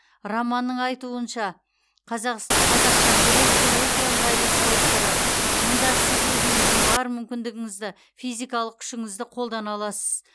романның айтуынша қазас қазақша күрес бұл өте ыңғайлы спорт түрі мұнда сіз өзіңіздің бар мүмкіндігіңізді физикалық күшіңізді қолдана аласыз